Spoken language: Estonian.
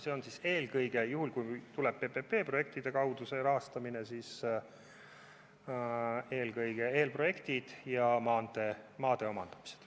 See hõlmab siis eelkõige – juhul, kui rahastamine tuleb PPP-projektide kaudu – eelprojekte ja maantee maade omandamist.